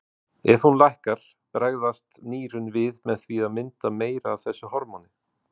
Ef hún lækkar bregðast nýrun við með því að mynda meira af þessu hormóni.